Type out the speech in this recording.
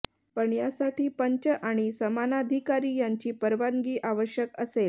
पण यासाठी पंच आणि सामनाधिकारी यांची परवानगी आवश्यक असेल